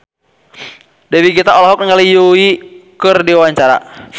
Dewi Gita olohok ningali Yui keur diwawancara